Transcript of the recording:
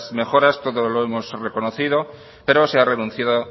mejoras todos lo hemos reconocido pero se ha renunciado a